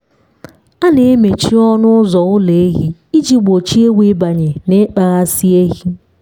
a na-emechi ọnụ ụzọ ụlọ ehi iji gbochie ewu ịbanye na ịkpaghasị ehi.